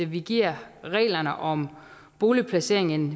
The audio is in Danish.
vi giver reglerne om boligplacering en